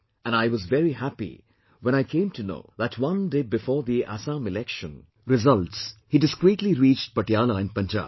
And I was very happy when I came to know that one day before the Assam election results, he discreetly reached Patiala in Punjab